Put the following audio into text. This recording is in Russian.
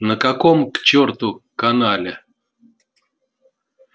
на каком к чёрту канале